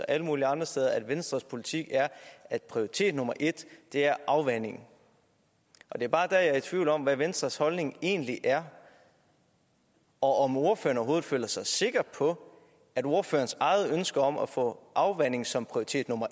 alle mulige andre steder at venstres politik er at prioritet nummer en er afvanding det er bare der jeg er i tvivl om hvad venstres holdning egentlig er og om ordføreren overhovedet føler sig sikker på at ordførerens eget ønske om at få afvanding som prioritet nummer